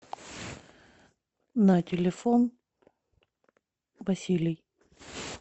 на телефон василий